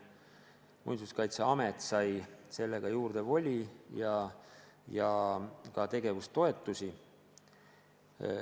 Muinsuskaitseamet sai sellega juurde voli ja ka tegevustoetusi.